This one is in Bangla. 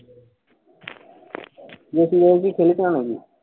তুই হবি।